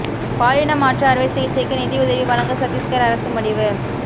பாலின மாற்று அறுவை சிகிச்சைக்கு நிதிஉதவி வழங்க சத்தீஸ்கர் அரசு முடிவு